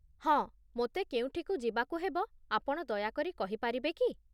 ହଁ, ମୋତେ କେଉଁଠିକୁ ଯିବାକୁ ହେବ, ଆପଣ ଦୟାକରି କହିପାରିବେ କି?